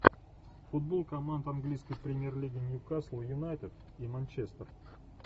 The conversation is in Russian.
футбол команд английской премьер лиги ньюкасл юнайтед и манчестер